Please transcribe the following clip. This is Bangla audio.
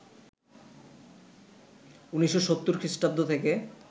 ১৯৭০ খ্রিস্টাব্দ থেকে